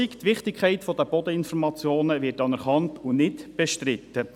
Die Wichtigkeit der Bodeninformationen wird anerkannt und nicht bestritten.